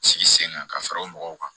Sigi sen kan ka fara o mɔgɔw kan